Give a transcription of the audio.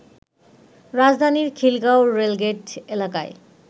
রাজধানীর খিলগাঁও রেলগেট এলাকায়